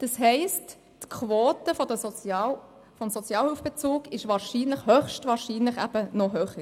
Das heisst, die Quote des Sozialhilfebezugs liegt höchstwahrscheinlich noch höher.